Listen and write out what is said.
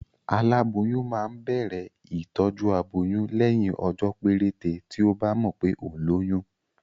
Aláboyún máa ń bẹ̀rẹ̀ ìtọjú aboyún lẹ́yìn ọjọ́ péréte tí ọ́ bá mọ̀ pé òun lóyún